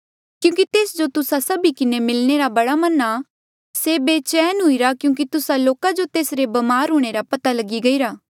क्यूंकि तेस जो तुस्सा सभी किन्हें मिलणे रा बड़ा मन आ से बेचैन हुईरा क्यूंकि तुस्सा लोका जो तेसरे ब्मार हूंणे रा पता लगी गईरा